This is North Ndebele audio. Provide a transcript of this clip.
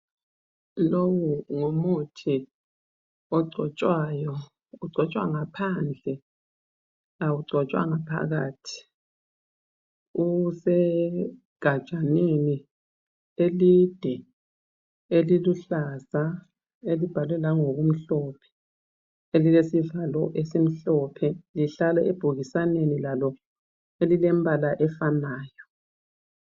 Lowu ngumuthi ogcotshwayo ugcotshwa ngaphandle awugcotshwa ngaphakathi usegajaneni elide eliluhlaza elibhalwe langokumhlophe elilesivalo esimhlophe lihlala ebhokisaneni Lalo elilembala efanayo